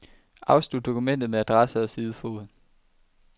Afslut dokumentet med adresse og sidefod.